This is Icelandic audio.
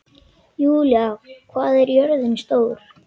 Júlí, hvað er jörðin stór?